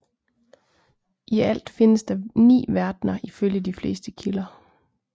I alt findes der ni verdner ifølge de fleste kilder